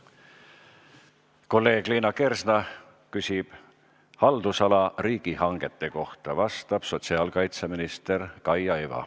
Kolleeg Liina Kersna küsib haldusala riigihangete kohta, vastab sotsiaalkaitseminister Kaia Iva.